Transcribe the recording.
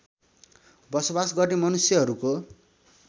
बसोबास गर्ने मनुष्यहरूको